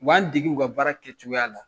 U b'an dege u ka baara kɛcogoya la.